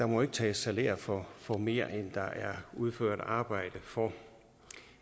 må tages salær for for mere end der er udført arbejde for